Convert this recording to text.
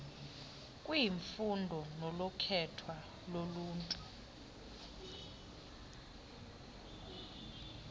kwiimfuno nokukhethwa luluntu